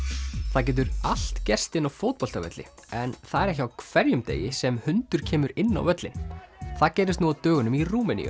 það getur allt gerst inni á fótboltavelli en það er ekki á hverjum degi sem hundur kemur inn á völlinn það gerðist nú á dögunum í Rúmeníu